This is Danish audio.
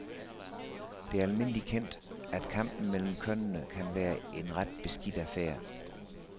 Det er almindelig kendt, at kampen mellem kønnene kan være en ret beskidt affære.